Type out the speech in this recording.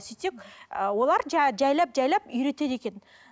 сөйтсек і олар жайлап жайлап үйретеді екен